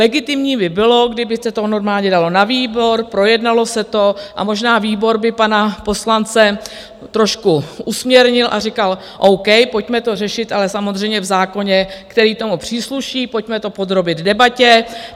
Legitimní by bylo, kdyby se to normálně dalo na výbor, projednalo se to a možná výbor by pana poslance trošku usměrnil a říkal o. k., pojďme to řešit, ale samozřejmě v zákoně, který tomu přísluší, pojďme to podrobit debatě.